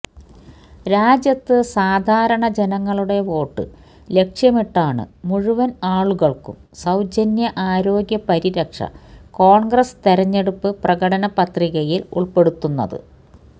രാജ്യത്ത് സാധാരണ ജനങ്ങളുടെ വോട്ട് ലക്ഷ്യമിട്ടാണ് മുഴുവന് ആളുകള്ക്കും സൌജന്യ ആരോഗ്യ പരിരക്ഷ കോണ്ഗ്രസ് തെരഞ്ഞെടുപ്പ് പ്രകടന പത്രികയില് ഉള്പ്പെടുത്തുന്നത്